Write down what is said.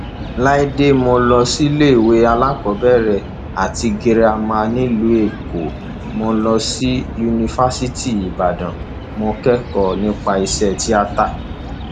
láìdè mo lọ síléèwé alákọọbẹrẹ àti girama nílùú èkó mo lọ sí yunifásitì ìbàdàn mo kẹkọọ nípa iṣẹ tíátá